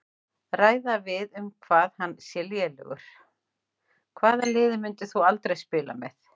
Ræða við um hann hvað hann sé lélegur Hvaða liði myndir þú aldrei spila með?